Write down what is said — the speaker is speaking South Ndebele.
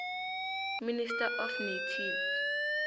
minister of native